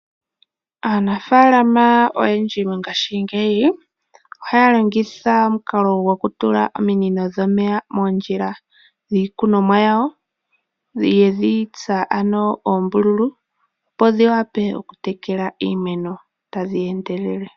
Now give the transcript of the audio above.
Aanafaalama oyendji mongashingeyi oha ya longitha omukalo gokutula ominino dhomeya moondjila dhiikunomwa yawo. Yedhi tsa ano oombululu opo dhi vule okutekela iimeno tadhi endelele.